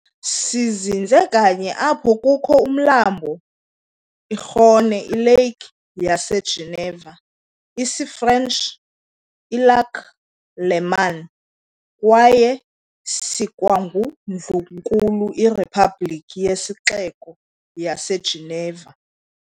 Sizinze kanye apho kukho umlambo iRhône iLake yaseGeneva, isiFrench "iLac Léman", kwaye sikwangundlunkulu iRepublic nesixeko saseGeneva.